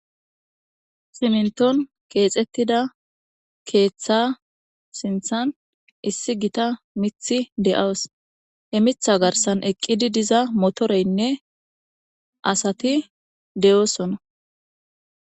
siminton keexettida keeththa sinthan issi gita mithi de7awos he mitha garsan eqqidi diza motoreynne asati de7osona